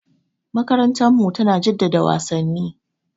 Makarantarmu tana jaddada wasanni.